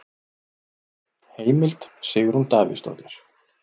Heimild: Sigrún Davíðsdóttir.